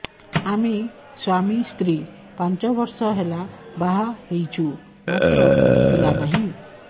ଆମେ ସ୍ୱାମୀ ସ୍ତ୍ରୀ ପାଞ୍ଚ ବର୍ଷ ହେଲା ବାହା ହେଇଛୁ ମାତ୍ର ପିଲା ନାହିଁ